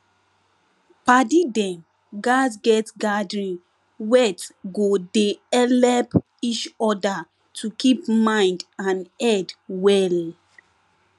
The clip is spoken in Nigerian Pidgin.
padi dem gatz get gathering wet go dey helep each other to keep mind and head well